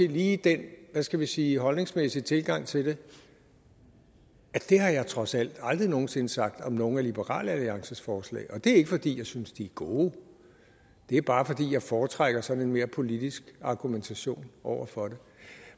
lige den hvad skal jeg sige holdningsmæssige tilgang til det at det har jeg dog trods alt aldrig nogen sinde sagt om nogen af liberal alliances forslag og det er ikke fordi jeg synes de er gode det er bare fordi jeg foretrækker sådan en mere politisk argumentation over for det